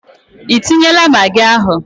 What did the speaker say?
Ị tinyela magị ahu?